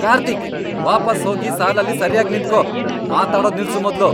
ಕಾರ್ತೀಕ್! ವಾಪಸ್ ಹೋಗಿ ಸಾಲಲ್ಲಿ ಸರ್ಯಾಗ್ ನಿಂತ್ಕೋ, ಮಾತಾಡೋದ್ ನಿಲ್ಸು ಮೊದ್ಲು.